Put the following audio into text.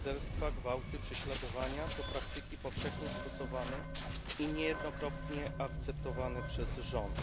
Morderstwa, gwałty, prześladowania to praktyki powszechnie stosowane i niejednokrotnie akceptowane przez rząd.